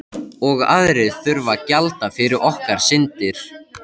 Og aðrir þurfa að gjalda fyrir okkar syndir.